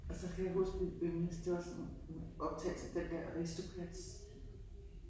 Og så kan jeg huske min yndlings det var sådan en en optagelse af den der Aristocats